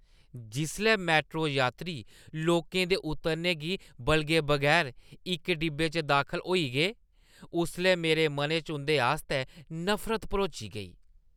जिसलै मैट्रो यात्री लोकें दे उतरने गी बलगे बगैर इक डिब्बे च दाखल होई गे, उसलै मेरे मनै च उं'दे आस्तै नफरत भरोची गेई।